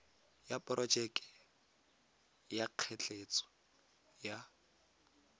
ya porojeke ya ketleetso ya